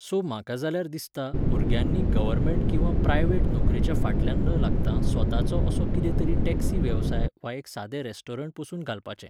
So म्हाका जाल्यार दिसता, भुरग्यांनी गर्वमेंट किंवा प्रायवेट नोकरेच्या फाटल्यान न लागतां स्वताचो असो कितेंतरी टॅक्सी वेवसाय वा एक सादें रेस्टोरंट पसून घालपाचें.